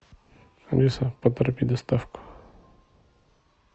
алиса поторопи доставку